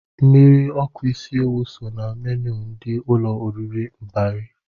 Mmiri ọkụ isi ewụ so na menu ndị ụlọ oriri Mbari.